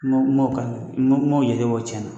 N m'o k'a la n m'o jate bɛ tiɲɛ na